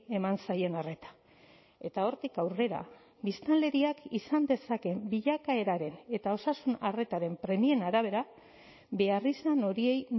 eman zaien arreta eta hortik aurrera biztanleriak izan dezakeen bilakaeraren eta osasun arretaren premien arabera beharrizan horiei